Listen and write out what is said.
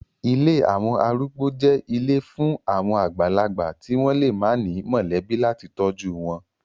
Ilé àwọn arúgbó jẹ́ ilé fún àwọn àgbàlagbà tí wọ́n lè má ní mọ̀lẹ́bí láti tọ́jú wọn.